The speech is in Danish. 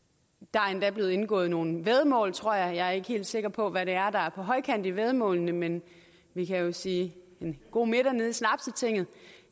er endda blevet indgået nogle væddemål tror jeg jeg er ikke helt sikker på hvad det er der er på højkant i væddemålene men vi kan jo sige en god middag nede i snapstinget